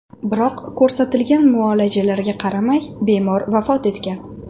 Biroq ko‘rsatilgan muolajalarga qaramay bemor vafot etgan.